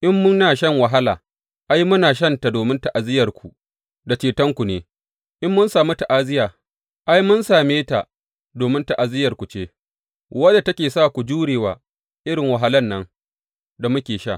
In muna shan wahala, ai, muna shanta domin ta’aziyyarku, da cetonku ne, in mun sami ta’aziyya, ai, mun same ta domin ta’aziyyarku ce, wadda take sa ku jure wa irin wahalan nan, da muke sha.